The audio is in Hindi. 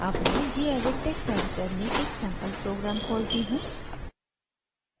अब मैं gedit टेक्स्ट एडिटर में एक सैंपल प्रोग्राम खोलती हूँ